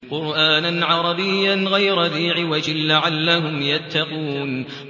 قُرْآنًا عَرَبِيًّا غَيْرَ ذِي عِوَجٍ لَّعَلَّهُمْ يَتَّقُونَ